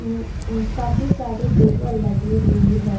ऊँ काफी सारी दुबा लगी हुई है।